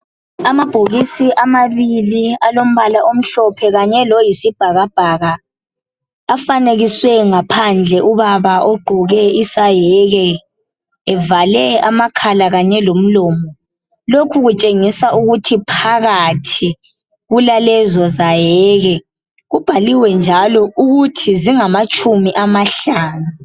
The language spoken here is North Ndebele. Amabhokisi amabili alombala omhlophe kanye loyisibhakabhaka. Afanekiswe ngaphandle ubaba ogqoke isayeke, evale amakhala Kanye lomlomo. Lokhu kutshengisa ukuthi phakathi kulalezo zayeke. Kubhaliwe njalo ukuthi zingamatshumi amahlanu.